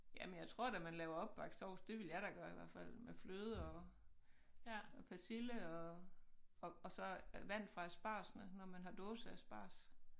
Jamen jeg tror da man laver opbagt sovs det ville jeg da gøre i hvert fald med fløde og og persille og og og så vand fra aspargesne når man har dåseasparges